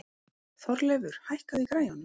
Þorleifur, hækkaðu í græjunum.